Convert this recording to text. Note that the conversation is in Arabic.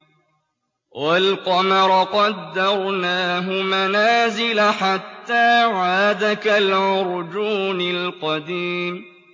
وَالْقَمَرَ قَدَّرْنَاهُ مَنَازِلَ حَتَّىٰ عَادَ كَالْعُرْجُونِ الْقَدِيمِ